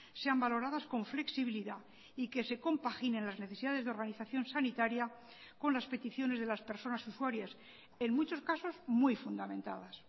sean valoradas con flexibilidad y que se compaginen las necesidades de organización sanitaria con las peticiones de las personas usuarias en muchos casos muy fundamentadas